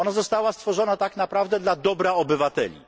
Ona została stworzona tak naprawdę dla dobra obywateli.